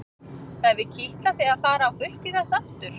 Það hefur kitlað þig að fara á fullt í þetta aftur?